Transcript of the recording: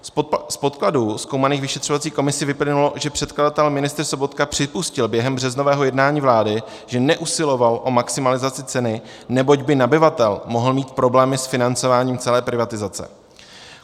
Z podkladů zkoumaných vyšetřovací komisí vyplynulo, že předkladatel ministr Sobotka připustil během březnového jednání vlády, že neusiloval o maximalizaci ceny, neboť by nabyvatel mohl mít problém s financováním celé privatizace.